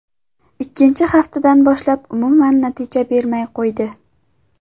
Ikkinchi haftadan boshlab umuman natija bermay qo‘ydi.